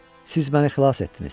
Siz məni xilas etdiniz.